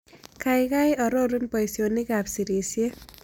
Kaiagai arorun boisionikap sirisyet